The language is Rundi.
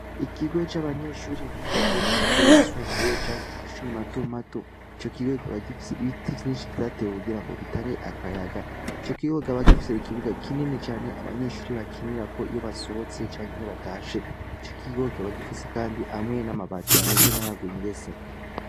Ikigoe c'abanyeshuri biga ko mu mashuri yisumbuye canke iu mashuri mato mato ico kigo gikabagifise ibiti vyinshi vyatewe ukugira ngo bitange akayaga co kigoka bagifise ikibuga kinini cane abanyeshuri bakinira ko iyo basohotse canke iyo batashe co kigigokbagifise, kandi amwe n'amabati ameze nk'ayaguye ingese.